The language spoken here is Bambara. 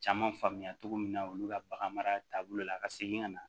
Caman faamuya cogo min na olu ka bagan mara taabolo la ka segin ka na